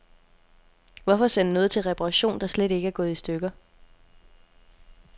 Hvorfor sende noget til reparation, der slet ikke er gået i stykker.